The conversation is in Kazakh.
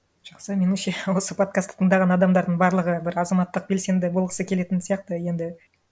жақсы меніңше осы подкастты тыңдаған адамдардың барлығы бір азаматтық белсенді болғысы келетін сияқты енді